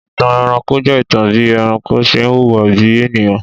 Ìtàn ẹranko je ìtàn bí ẹranko ṣe ń hùwà bí ènìyàn.